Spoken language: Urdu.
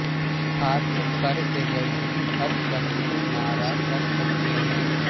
ہاتھ پر الرجی ہر شخص مارا کر سکتے ہیں